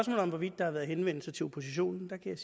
om hvorvidt der har været henvendelser til oppositionen kan jeg